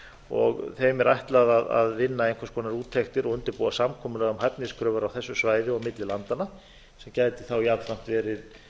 og þeim er ætlað að vinna einhvers konar úttektir og undirbúa samkomulag um hæfniskröfur á þessu svæði og milli landanna sem gæti þá jafnframt verið